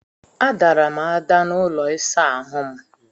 A dara m ada n'ụlọ ịsa ahụ m.